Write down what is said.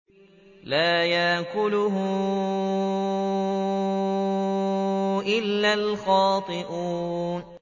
لَّا يَأْكُلُهُ إِلَّا الْخَاطِئُونَ